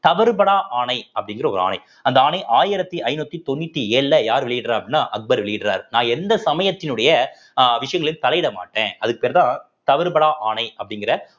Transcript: தவறுபடா ஆணை அப்படிங்கிற ஒரு ஆணை அந்த ஆணை ஆயிரத்தி ஐந்நூத்தி தொண்ணூத்தி ஏழுல யார் வெளியிடறா அப்படின்னா அக்பர் வெளியிடறாரு நான் எந்த சமயத்தினுடைய அஹ் விஷயங்களில் தலையிட மாட்டேன் அதுக்கு பேர்தான் தவறுபடா ஆணை அப்படிங்கிற